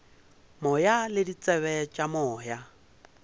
moya le ditsebe tša moya